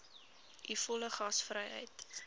u volle gasvryheid